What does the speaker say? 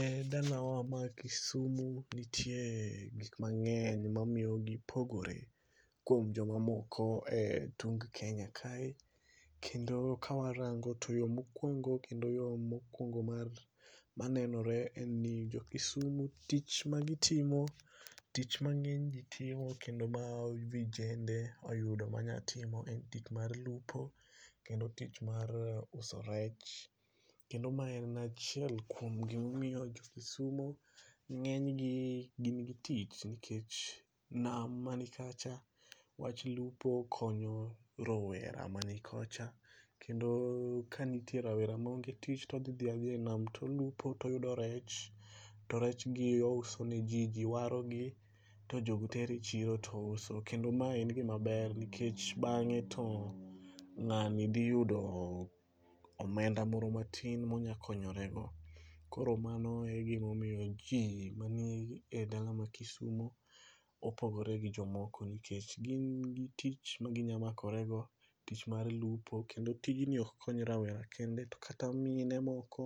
E dala wa ma Kisumu nitie gik mangeny mamiyo gipogore kuom joma moko e tung' Kenya kae kendo ka warango to yoo mokuongo kendo yoo mokuongo mar manenore ni jo kisumu tich magitimo, tich ma ng'eny jii itimo kendo ma vijende oyudo ma nya timo e tich mar luopo kendo tich mar uso rech kendo ma en achiel kuom gimomiyo jo kisumo ng'eny gi gin gi tich nikech nam manikacha wach lupo konyo rowera mani kocha kendo kanitie rawera moange tich todhi dhi adhia e nam tolupo toyudo rech to rech gi ouso ne jii, jii waogi to jogi tero e chiro to uso. Kendo mae en gima ber nikech bang eto ng'ani dhi yudo omenda moro matin molnya konyore go. Koro mano egima omiyo jii manie dala ma Kisumo opogore gi jomoko nikech gin gi tich maginya makore go, tich mar lupo kendo tijni oko kony rawera kende, kata mine moko